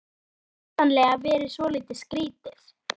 Það hefur væntanlega verið svolítið skrýtið?